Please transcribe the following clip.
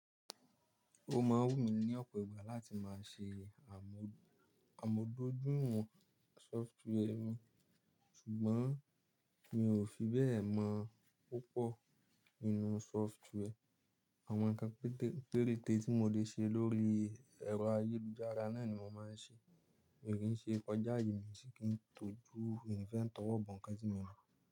Ó máa wù mí ní ọ̀pọ̀ ìgbà láti má ṣe àmódójúìwọ̀n sọftware mi, ṣùgbọ́n mi ò fi bẹ́ẹ̀ mọ̀ púpọ̀ nínú sọftware. Àwọn nǹkan keke, péréte tí mo lè ṣe lórí ẹ̀rọ ayélujára náà ni mo máa ń ṣe. Mi ò kíń ṣe kọjá aye mi mi sìn kíń tọ́jú, mi n fe towobọ̀ ǹkan tí mi o mo.